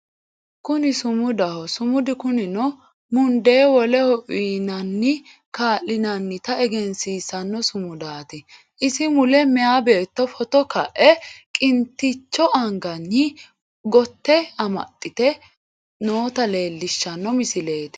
Kuni sumudaho sumudu kunino mundee woleho uuyinanni kaa'linannita egensiissanno sumudaati isi mule meyaa beetto footo ka'e qiniitticho anganni gote amaxxite noota leellishshano misileeti.